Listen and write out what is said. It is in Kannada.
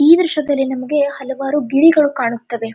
ಈ ದೃಶ್ಯದಲ್ಲಿ ನಮಗೆ ಹಲವಾರು ಗಿಳಿಗಳು ಕಾಣುತ್ತವೆ.